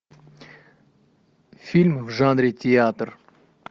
фильм в жанре театр